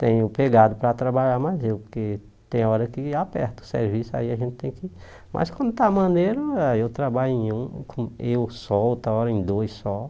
Tenho pegado para trabalhar, mas eu, porque tem hora que aperta o serviço, aí a gente tem que... Mas quando está maneiro, ah eu trabalho em um, com eu só, outra hora em dois só.